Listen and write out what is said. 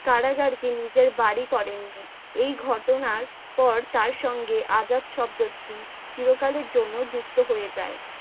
কারাগার কে নিজের বাড়ি করেননি, এই ঘটনার পর তার সঙ্গে আজাদ শব্দটি চিরকালের জন্য যুক্ত হয়ে যায় ।